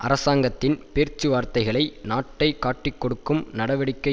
அராசாங்கத்தின் பேச்சுவார்த்தைகளை நாட்டை காட்டிக் கொடுக்கும் நடவடிக்கை